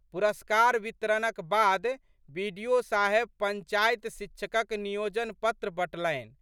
पुरस्कार वितरणक बाद बि.डि.ओ.साहेब पंचायत शिक्षकक नियोजन पत्र बँटलनि।